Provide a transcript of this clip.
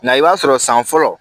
Nga i b'a sɔrɔ san fɔlɔ